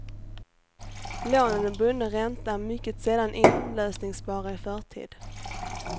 Lånen med bunden ränta är mycket sällan inlösningsbara i förtid.